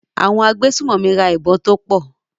Àwọn agbésùnmọ̀mí ra ìbọn tó pọ̀.